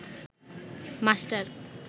master